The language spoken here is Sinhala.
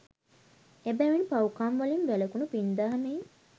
එබැවින් පව්කම්වලින් වැළැකුණු, පින් දහම් හි